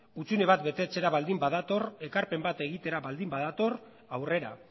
hutsune bat betetzera baldin badator ekarpen bat egitera baldin badator aurrera